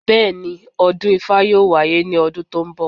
Bẹ́ẹ̀, ọdún ifá yóò wáyé ní ọdún tó ń bọ̀